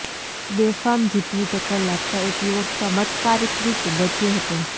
બેફામ જીપની ટક્કર લાગતાં એક યુવક ચમત્કારિક રીતે બચ્યો હતો